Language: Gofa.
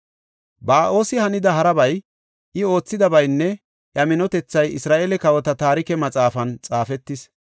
Ba7oosi hanida harabay, I oothidabaynne iya minotethay Isra7eele kawota Taarike Maxaafan xaafetis.